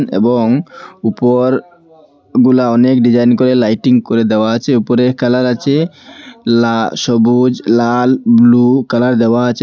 এবং উপর গুলা অনেক ডিজাইন করে লাইটিং করে দেওয়া আছে উপরের কালার আছে লা সবুজ লাল ব্লু কালার দেওয়া আছে।